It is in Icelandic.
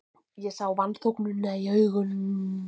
Ég sá vanþóknunina í augum